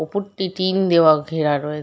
ওপরটি tin দেওয়া ঘেরা রয়ে --